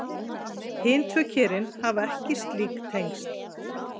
Hin tvö kerfin hafa ekki slík tengsl.